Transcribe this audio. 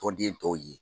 Tɔnden tɔw ye